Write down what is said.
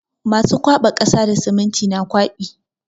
Masu kwaɓa kasa da siminti na kwaɓi.